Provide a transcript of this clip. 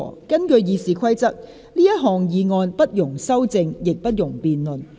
根據《議事規則》，這項議案不容修正，亦不容辯論。